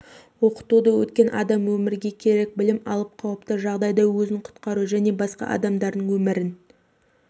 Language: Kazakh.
оқытуды өткен адам өмірге керек білім алып қауіпті жағдайда өзін құтқару және басқа адамдардың өмірін